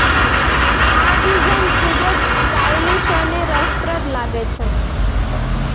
આ ડિઝાઇન ખૂબ જ સ્ટાઇલીશ અને રસપ્રદ લાગે છે